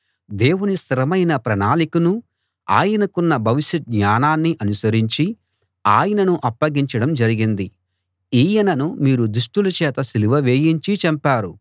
దేవుని స్థిరమైన ప్రణాళికనూ ఆయనకున్న భవిష్య జ్ఞానాన్నీ అనుసరించి ఆయనను అప్పగించడం జరిగింది ఈయనను మీరు దుష్టుల చేత సిలువ వేయించి చంపారు